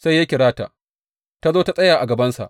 Sai ya kira ta, ta zo ta tsaya a gabansa.